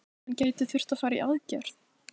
Hann gæti þurft að fara í aðgerð.